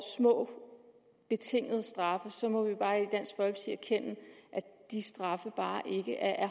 små betingede straffe må vi bare i at de straffe bare ikke er